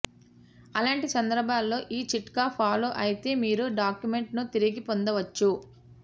అలాంటి సందర్భాల్లో ఈ చిట్కా ఫాలో అయితే మీరు డాక్యుమెంట్ ను తిరిగి పొందవచ్చు